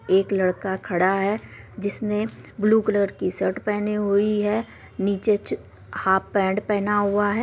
एक लड़का खड़ा है जिसने ब्लू कलर की शर्ट पहनी हुई है नीचे च हाफ पैंट पहना हुआ है।